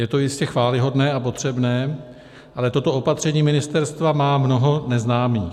Je to jistě chvályhodné a potřebné, ale toto opatření ministerstva má mnoho neznámých.